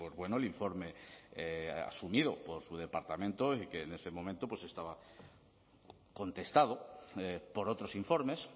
bueno el informe asumido por su departamento y que en ese momento estaba contestado por otros informes